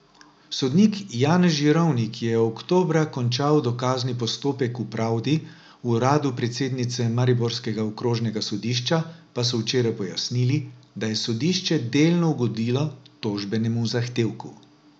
Sodnik Janez Žirovnik je oktobra končal dokazni postopek v pravdi, v uradu predsednice mariborskega okrožnega sodišča pa so včeraj pojasnili, da je sodišče delno ugodilo tožbenemu zahtevku.